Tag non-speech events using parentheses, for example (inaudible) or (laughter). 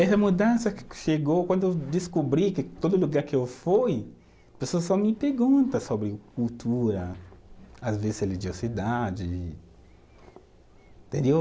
Essa mudança que chegou quando eu descobri que todo lugar que eu fui, pessoas só me pergunta sobre cultura, às vezes religiosidade. (unintelligible)